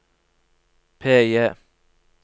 PIE